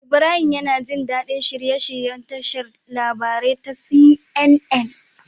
Ibrahim yAna jin dadi shirye shiryen tashar labarai ta CNN